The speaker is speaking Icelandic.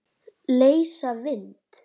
Leysa vind?